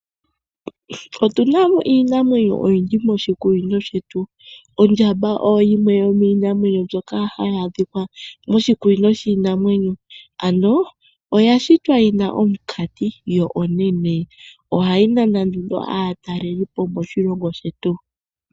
Otu na iinamwenyo oyindji moshikunino shetu. Ondjamba oyo yimwe yomiinamwenyo mbyoka hayi adhika moshikunino shiinamwenyo. Oya shitwa yi na omunkati yo onene. Ohayi nana nduno aatalelipo moshilongo shetu.